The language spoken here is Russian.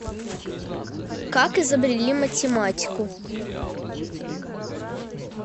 как изобрели математику